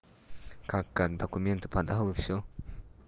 как как документы подал и всё